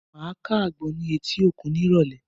Màá ká àgbọn ní etí òkun ní ìrọ̀lẹ́